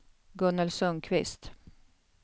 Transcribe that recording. Gunnel Sundqvist